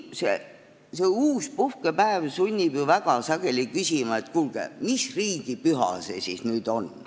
See uus puhkepäev sunnib ju väga sageli küsima, et kuulge, mis riigipüha see siis nüüd on.